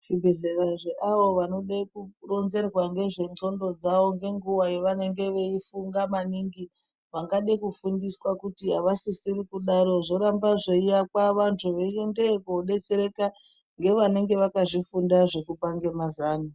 Zvibhedhlera zveavo vanode kuronzerwa ngezvendxondo dzavo ngenguwa yevanenge veifunga maningi vangade kufundiswa kuti avasisiri kudaro zvoramba zveiakwa vantu veiendeyo koodetsereka ngevanenge vakazvifunda zvekupange mazano.